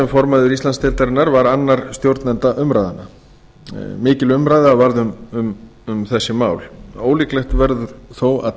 formaður íslandsdeildarinnar var annar stjórnenda umræðnanna mikil umræða varð um þessi mál ólíklegt verður þó að